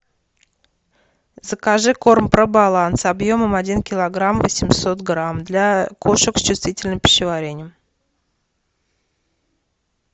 закажи корм пробаланс объемом один килограмм восемьсот грамм для кошек с чувствительным пищеварением